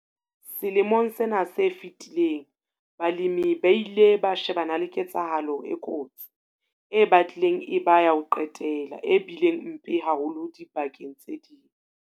Selemong sena se fetileng balemi ba ile ba shebana le ketsahalo e kotsi, e batlileng e ba ya ho qetela, e bileng mpe haholo dibakeng tse ding.